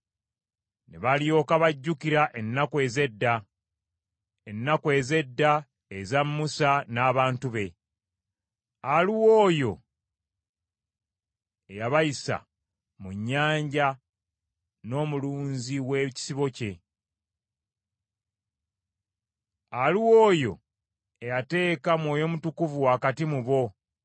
Ne balyoka bajjukira ennaku ez’edda, ennaku ez’edda eza Musa n’abantu be; aluwa oyo eyabayisa mu nnyanja n’omulunzi w’ekisibo kye. Aluwa oyo eyateeka Mwoyo Mutukuvu wakati mu bo